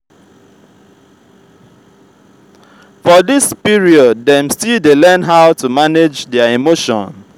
for this period dem still dey learn how to manage their emotion